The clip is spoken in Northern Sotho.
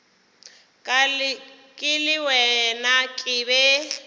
ke le wena ke be